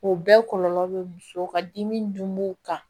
O bɛɛ kɔlɔlɔ be muso ka dimi dun kan